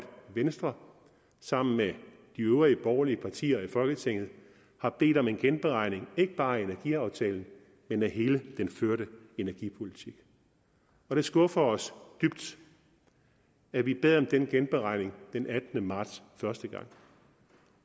venstre sammen med de øvrige borgerlige partier i folketinget har bedt om en genberegning ikke bare af energiaftalen men af hele den førte energipolitik det skuffer os dybt at vi bad om den genberegning den attende marts første gang